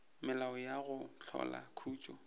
melao ya go hlola khutšo